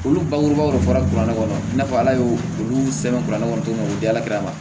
Olu bangebaw de fɔra kuranɛ kɔnɔ i n'a fɔ ala y'o olu sɛbɛn ne kɔnɔ cogo min na u diyalakɛla ma